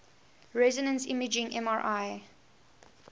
resonance imaging mri